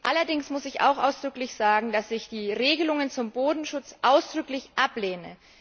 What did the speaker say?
Allerdings muss ich auch ausdrücklich sagen, dass ich die Regelungen zum Bodenschutz nachdrücklich ablehne.